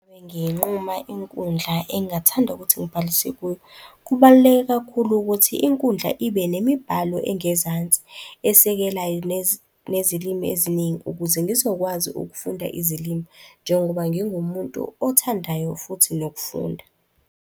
nginquma inkundla engingathanda ukuthi ngibhalise kuyo. Kubaluleke kakhulu ukuthi inkundla ibe nemibhalo engezansi esekelayo nezilimi eziningi ukuze ngizokwazi ukufunda izilimi. Njengoba ngingumuntu othandayo futhi nokufunda.